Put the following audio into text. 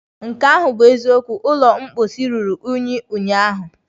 Nke ahụ bụ eziokwu, ụlọ mposi ruru unyi ụnyaahụ.